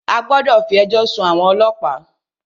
A gbọ́dọ̀ fí ẹjọ́ sún àwọn ọlọ́pàá!